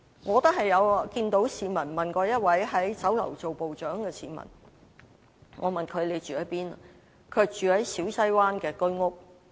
我曾問一名在酒樓任職部長的市民住在哪裏，他說住在小西灣的居屋。